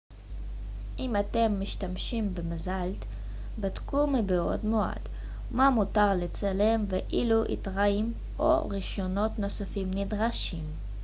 אם אתם משתמשים במזל ט בדקו מבעוד מועד מה מותר לצלם ואילו היתרים או רישיונות נוספים נדרשים